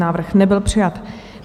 Návrh nebyl přijat.